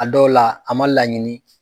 A dɔw la a ma laɲini